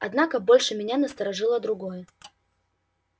однако больше меня насторожило другое